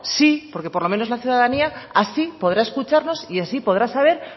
sí porque por los menos la ciudadanía así podrá escucharnos y así podrá saber